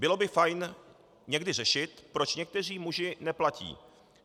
Bylo by fajn někdy řešit, proč někteří muži neplatí.